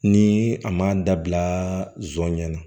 Ni a ma dabila zon ɲɛna